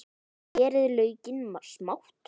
Skerið laukinn smátt.